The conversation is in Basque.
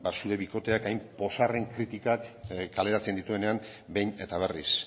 zure bikoteak hain ozarren kritikak kaleratzen dituenean behin eta berriz